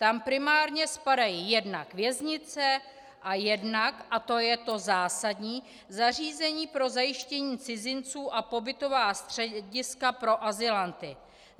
Tam primárně spadají jednak věznice a jednak - a to je to zásadní - zařízení pro zajištění cizinců a pobytová střediska pro azylanty.